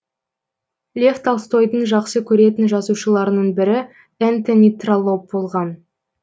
лев толстойдың жақсы көретін жазушыларының бірі энтони троллоп болған